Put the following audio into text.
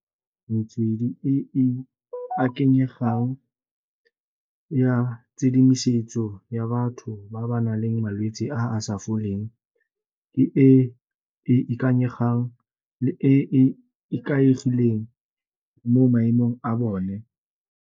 Metswedi e e akanyegang ya tshedimosetso ya batho ba ba nang le malwetsi a a sa foleng ke e e ikanyegang le e ikaegileng mo maemong a bone.